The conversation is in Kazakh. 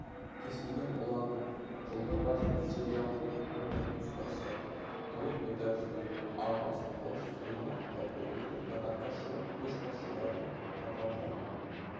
кесілген болатын жылдың басында сериалдың кинонұсқасы толықметражды алмас қылыш фильмі жалпыұлттық прокатқа шығып көшбасшылардың қатарынан